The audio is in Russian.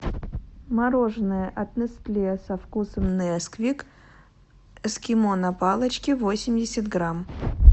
мороженое от нестле со вкусом несквик эскимо на палочке восемьдесят грамм